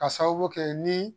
Ka sababu kɛ ni